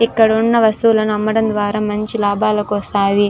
ఇక్కడ ఉన్న వస్తువుల్ని అమ్మడం ద్వారా మంచి లాభాలు వస్తది.